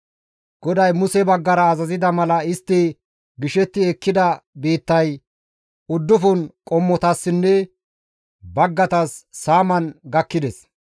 GODAY Muse baggara azazida mala istti gishetti ekkida biittay uddufun qommotassinne baggaytas saaman gakkides.